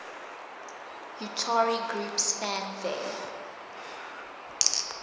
utari groups fanfare